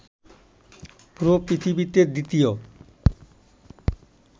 পুরো পৃথিবীতে দ্বিতীয়